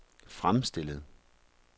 fremstillet